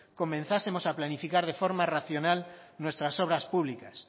comenzásemos a planificar de forma racional nuestras obras públicas